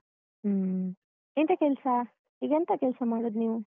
ಹ್ಮ್ ಎಂತ ಕೆಲ್ಸ ಈಗೆಂತ ಕೆಲ್ಸ ಮಾಡುದ್ ನೀವು?